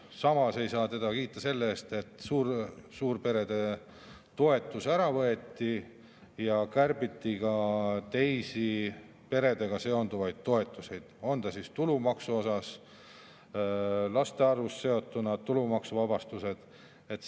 Samas ei saa teda kiita selle eest, et suurperede toetus ära võeti ja kärbiti ka teisi peredega seonduvaid toetusi, nagu tulumaksu ja maksuvabastus, mis on seotud laste arvuga.